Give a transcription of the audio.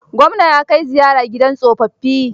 Gwamna ya kai ziyara gida tsofaffi.